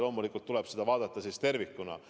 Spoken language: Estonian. Loomulikult tuleb seda vaadata tervikuna.